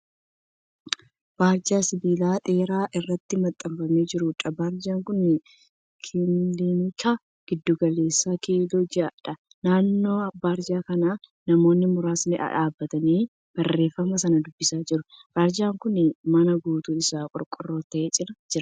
Barjaa sibiila ol dheeraa irratti maxxanfamee jiruudha. Barjaan kun kilinika giddu galeessaa kiiloo jahaa jedha. Naannoo barjaa kanaa namoonni muraasni dhaabbatanii barreeffama sana dubbisaa jiru. Barjaan kun mana guutuun isaa qorqorroo ta'e cina jira.